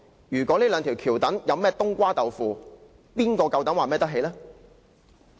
如果這兩條橋躉有甚麼"冬瓜豆腐"，誰有膽量說可以完全負責？